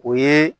O ye